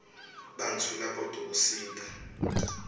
bantfu labatdkusita